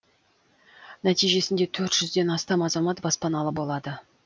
нәтижесінде төрт жүзден астам азамат баспаналы болады